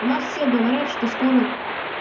у нас все говорят что скоро